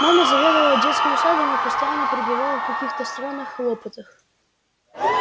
мама заведовала детским садом и постоянно пребывала в каких то странных хлопотах